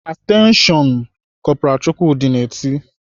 "Atenshion nnnn!" Kọpral Chukwudi na-eti.